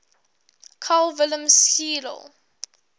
carl wilhelm scheele